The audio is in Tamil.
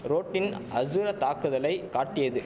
ரோட்டின் அசுர தாக்குதலை காட்டியது